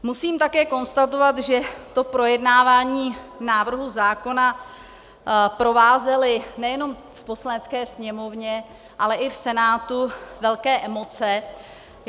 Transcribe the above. Musím také konstatovat, že to projednávání návrhu zákona provázely nejenom v Poslanecké sněmovně, ale i v Senátu velké emoce.